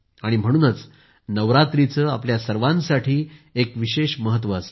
म्हणूनच नवरात्राचे आपल्या सर्वांसाठी एक विशेष महत्व असते